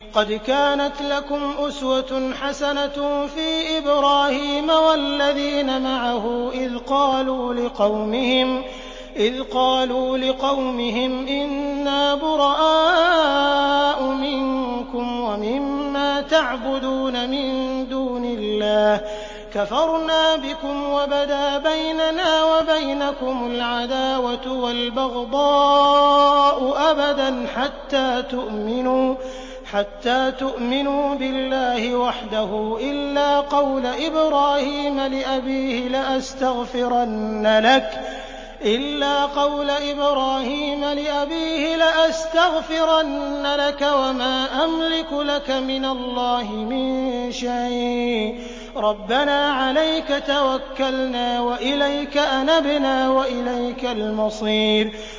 قَدْ كَانَتْ لَكُمْ أُسْوَةٌ حَسَنَةٌ فِي إِبْرَاهِيمَ وَالَّذِينَ مَعَهُ إِذْ قَالُوا لِقَوْمِهِمْ إِنَّا بُرَآءُ مِنكُمْ وَمِمَّا تَعْبُدُونَ مِن دُونِ اللَّهِ كَفَرْنَا بِكُمْ وَبَدَا بَيْنَنَا وَبَيْنَكُمُ الْعَدَاوَةُ وَالْبَغْضَاءُ أَبَدًا حَتَّىٰ تُؤْمِنُوا بِاللَّهِ وَحْدَهُ إِلَّا قَوْلَ إِبْرَاهِيمَ لِأَبِيهِ لَأَسْتَغْفِرَنَّ لَكَ وَمَا أَمْلِكُ لَكَ مِنَ اللَّهِ مِن شَيْءٍ ۖ رَّبَّنَا عَلَيْكَ تَوَكَّلْنَا وَإِلَيْكَ أَنَبْنَا وَإِلَيْكَ الْمَصِيرُ